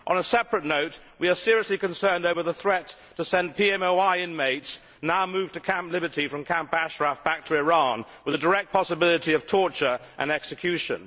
On a separate note, we are seriously concerned over the threat to send PMOI inmates, now moved to Camp Liberty from Camp Ashraf, back to Iran, with a direct possibility of torture and execution.